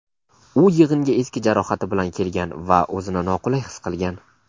U yig‘inga eski jarohati bilan kelgan va o‘zini noqulay his qilgan.